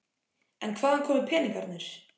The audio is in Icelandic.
En hvaðan komu peningarnir?